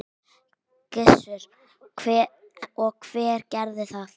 Gissur: Og hver gerði það?